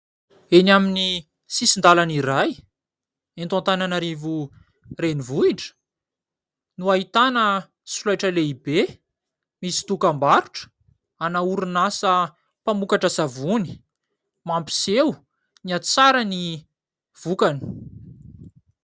eny amin'ny sisin-dalana iray eto an-tananarivo reni-vohitra no hahitana solaitra lehibe misy dokam-barotra ana orinasa mpamokatra savony mampiseho ny ahatsara ny vokany